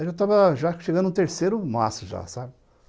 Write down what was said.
Aí eu estava já chegando no terceiro maço já, sabe?